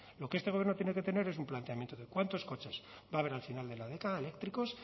lo que este gobierno tiene que tener es un planteamiento de cuántos coches va a haber al final de la década eléctricos